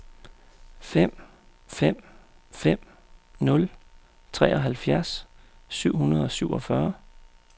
fem fem fem nul treoghalvfjerds syv hundrede og syvogfyrre